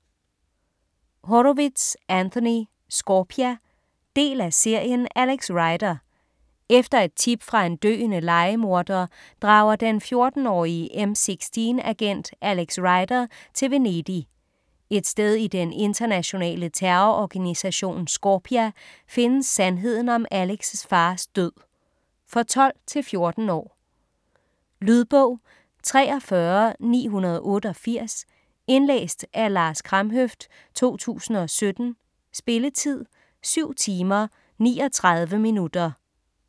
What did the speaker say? Horowitz, Anthony: Scorpia Del af serien Alex Rider. Efter et tip fra en døende lejemorder drager den 14-årige MI6-agent Alex Rider til Venedig. Et sted i den internationale terrororganisation Scorpia findes sandheden om Alex' fars død. For 12-14 år. Lydbog 43988 Indlæst af Lars Kramhøft, 2017. Spilletid: 7 timer, 39 minutter.